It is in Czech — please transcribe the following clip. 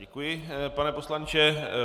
Děkuji, pane poslanče.